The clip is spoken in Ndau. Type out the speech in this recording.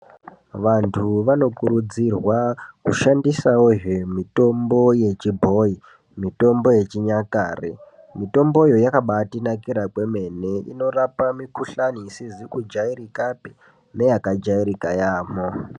Vantu vanokurudzirwa kushandisavozve mitombo yechibhoi. Mitombo yechinyakare mitomboyo yakabatinakira kwemene. Inorapa mikuhlani isizi kujairikapi neyakajairika yaamho.